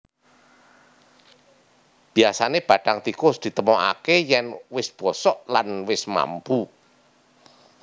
Biyasané bathang tikus ditemokaké yèn wis bosok lan wis mambu